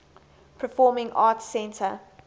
performing arts center